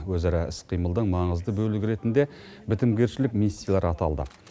өзара іс қимылдың маңызды бөлігі ретінде бітімгершілік миссиялар аталды